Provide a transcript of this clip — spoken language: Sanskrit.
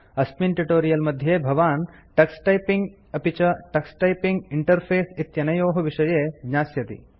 अस्मिन् ट्यूटोरियल मध्ये भवान् टक्स टाइपिंग अपि च टक्स टाइपिंग इंटरफेस इत्यनयोः विषये ज्ञास्यति